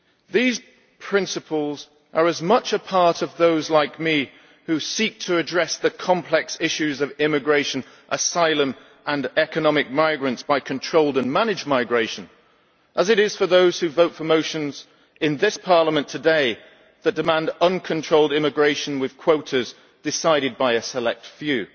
These principles are as much a part of those like me, who seek to address the complex issues of immigration, asylum and economic migrants by controlled and managed migration, as they are for those who vote for motions in this Parliament today that demand uncontrolled immigration with quotas decided by a select few.